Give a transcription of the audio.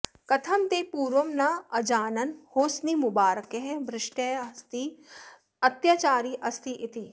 कथं ते पूर्वं न अजानन् होस्निमुबारकः भ्रष्टः अस्ति अत्याचारी अस्ति इति